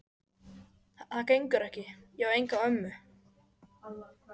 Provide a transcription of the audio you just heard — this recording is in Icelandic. Það gengur ekki, ég á enga ömmu